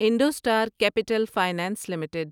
IndoStar capital finance limited